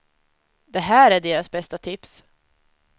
Det här är deras bästa tips.